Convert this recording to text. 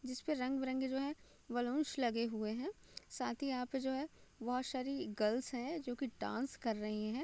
जिसपे रंग-बिरंगे जो है बलूंस लगे हुए हैं साथ ही यहां पे जो है बहुत सारी गर्ल्स है जो की डांस कर रही हैं।